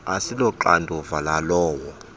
asilo xanduva lalowo